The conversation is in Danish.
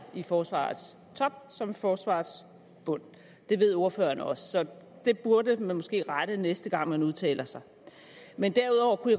i forsvarets top som i forsvarets bund det ved ordføreren også så det burde man måske rette næste gang man udtaler sig men derudover kunne